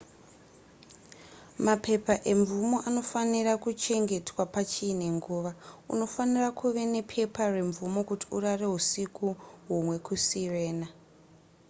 mapepa emvumo anofanira kuchengetwa pachiine nguva unofanira kuve nepepa remvumo kuti urare husiku humwe kusirena